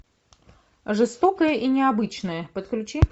жестокое и необычное подключи